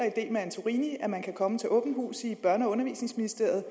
i del med antorini man kan komme til åbent hus i ministeriet for børn og undervisningsministeriet